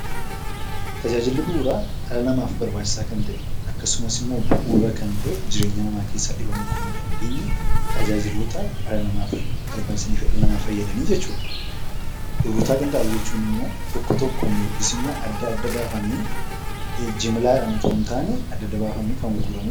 Tajaajilli bu'uuraa dhala namaaf barbachisaa kan ta'e akkasumas immoo bu'uura kan ta'e dhala namaa keessaa dhibamuu kan hin dandeenye tajaajiloota dhala namaaf barbaachisan jechuudha. Gurgurtaa qinxaaboo jechuun immoo tokko tokkoon yookiis immoo adda baafamee kan gurguramu jechuudha.